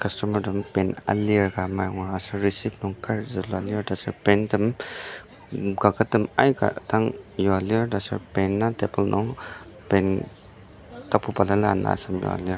customer tem pen alir ka amai angur aser receive nung kar zulua lir tasur pen tem kaket tem aika dang yua lir tasur pen a table nung pen tapu balala ana asem ka lir.